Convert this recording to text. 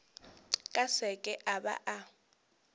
ka seke a ba a